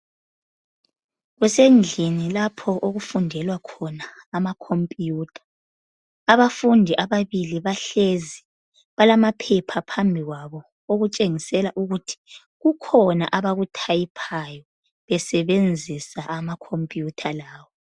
Kusendlini lapho okufundelwa khona ama khompiyutha, abafundi ababili bahlezi balamaphepha phambili kwabo okutsengisela ukuthi kukhona abakuthayiphayo besebenzisa amakhompiyutha lawo.